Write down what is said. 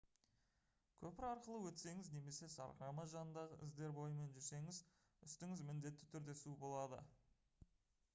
көпір арқылы өтсеңіз немесе сарқырама жанындағы іздер бойымен жүрсеңіз үстіңіз міндетті түрде су болады